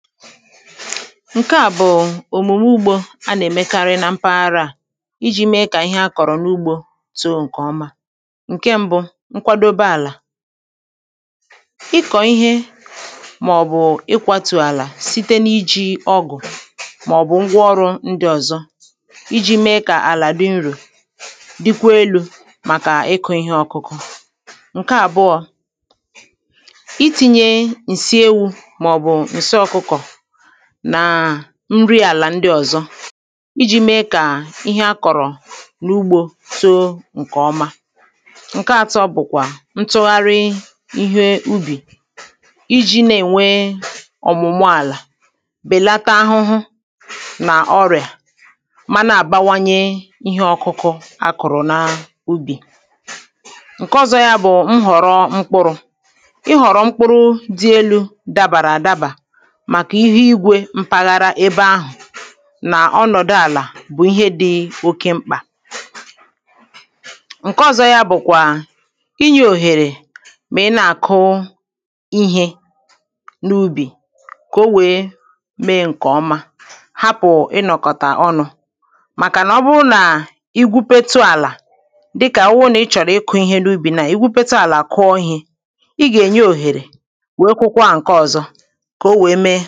ǹke à bụ̀ òmùme ugbȯ a nà-èmekarị nà mpaghara à iji̇ mee kà ihe a kọ̀rọ̀ n’ugbȯ too ǹkè ọma ǹke mbụ nkwadobė àlà ịkọ̀ ihe màọ̀bụ̀ ikwatù àlà site n’iji̇ ọgụ̀ màọ̀bụ̀ ngwa ọrụ̇ ndị ọ̀zọ iji̇ mee kà àlà dị nro dịkwa elu̇ màkà ịkụ̇ ihe ọkụkụ ǹke àbụọ̇ itinye ǹsị ewu̇ ma ọ bu nsị ọkukọ nàà nri àlà ndị ọ̀zọ iji̇ mee kà ihe akọ̀rọ̀ n’ugbȯ too ǹkè ọma ǹke atọ bụ̀kwà ntụgharị ihe ubì iji̇ na-ènwe ọ̀mụ̀mụ àlà bèlata ahụhụ nà ọrị̀à manà àbawanye ihe ọkụkụ akụ̀rụ na ubì [paues]ǹke ọ̀zọ yȧ bụ̀ m họ̀rọ mkpụrụ̇ ị họ̀rọ mkpụrụ dị elu̇ dàbàrà àdabà maka ihu igwe mpaghara ebe ahụ na ọnọdụ ala bu ihe dị oke mkpa nke ọzọ ya bukwa ịnye oghere ma ị na akụ ihe n'ụbi ka onwere mee nke ọma hapụ inọkọta ọnụ maka na Oburu na igwupetu ala dika Oburu na ichoro ịkụ Ihe n'ụbi now igwupetu ala kuọ ihe I ga enye oghere nwee kukwaa nke ọzọ ka onwere